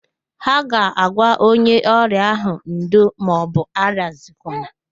Ha ga-agwa onye ọrịa ahụ,"ndo maọbụ arịazikwala"